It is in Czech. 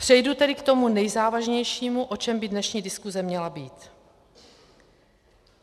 Přejdu tedy k tomu nejzávažnějšímu, o čem by dnešní diskuse měla být.